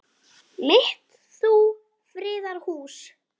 mitt þú friðar hús.